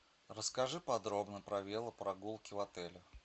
расскажи подробно про велопрогулки в отеле